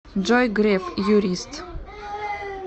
джой греф юрист